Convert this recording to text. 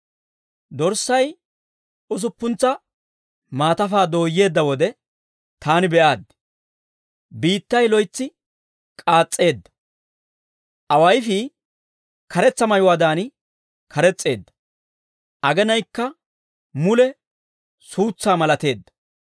Dorssay usuppuntsa maatafaa dooyyeedda wode, taani be'aaddi; biittay loytsi k'aas's'eedda. Awayifii karetsa mayuwaadan kares's'eedda; agenaykka mule suutsaa malateedda.